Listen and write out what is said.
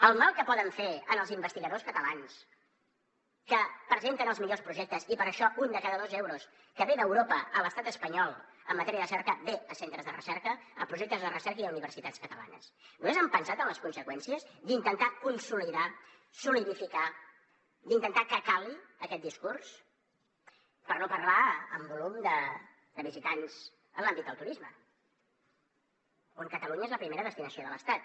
el mal que poden fer als investigadors catalans que presenten els millors projectes i per això un de cada dos euros que ve d’europa a l’estat espanyol en matèria de recerca ve a centres de recerca a projectes de recerca i a universitats catalanes vostès han pensat en les conseqüències d’intentar consolidar solidificar d’intentar que cali aquest discurs per no parlar de volum de visitants en l’àmbit del turisme on catalunya és la primera destinació de l’estat